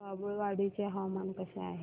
बाभुळवाडी चे हवामान कसे आहे